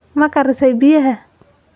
Ma karisay biyaha?